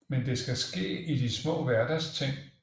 Men det skal ske i de små hverdagsting